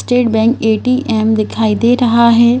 State bank ATM दिखाई दे रहा है।